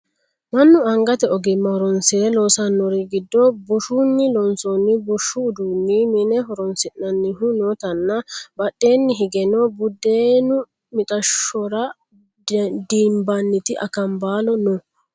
mannu angate ogimma horonsire loosannori giddo bushshunni loonsoonnihu bushshu uduunni mine horonsi'nannihu nootanna badheenni higeno buddeenu mixashshora dinbanniti akanbaalo no